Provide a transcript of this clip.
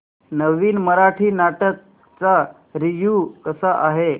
नवीन मराठी नाटक चा रिव्यू कसा आहे